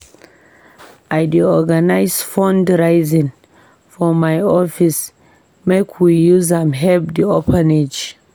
I dey organise fundraising for my office make we use am help di orphanage.